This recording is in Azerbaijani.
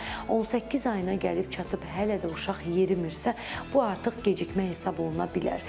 18 ayına gəlib çatıb hələ də uşaq yerimirsə, bu artıq gecikmə hesab oluna bilər.